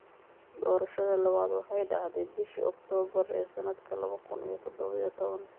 Doorashadii labaad waxay dhacday bishii Oktoobar ee sanadka laba kun iyo toddoba iyo toban.